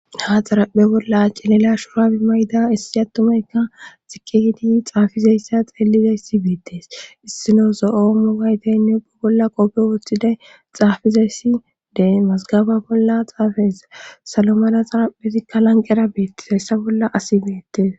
ha xaraphe bolla cilila shurabe mayda issi attumayka eqidi xaafizayssa xeeliday si beettees issino so7o mu gayteynne ubba bolla qoppe wooththiday xaafizayssi dee masgaba bolla xaafayesa salomada xaraphezikka lanqera beettizayssa bolla asi beettees